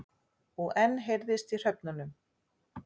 Og enn heyrðist í hröfnunum.